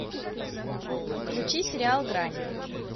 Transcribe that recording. включи сериал грань